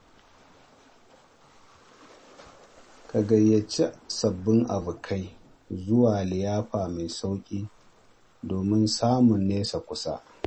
Ka gayyaci sabbin abokai zuwa liyafa mai sauƙi domin samun nesa kusa.